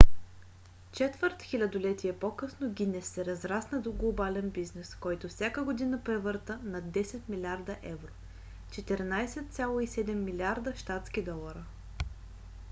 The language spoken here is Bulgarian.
четвърт хилядолетие по-късно гинес се разрасна до глобален бизнес който всяка година превърта над 10 милиарда евро 14,7 милиарда щатски долара